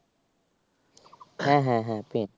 হ্যাঁ হ্যাঁ হ্যাঁ Print